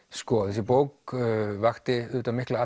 þessi bók vakti auðvitað mikla